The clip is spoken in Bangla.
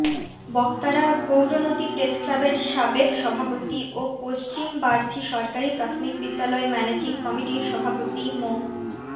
বক্তারা গৌরনদী প্রেসক্লাবের সাবেক সভাপতি ও পশ্চিম বার্থী সরকারি প্রাথমিক বিদ্যালয় ম্যানেজিং কমিটির সভাপতি মো